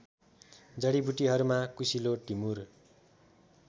जडीबुटीहरूमा कुसिलो टिमुर